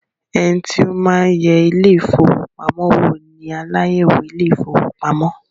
Ẹnití ó máa ń yẹ ile-ìfowópamó wò ní aláyẹ̀wò ile-ìfowópamó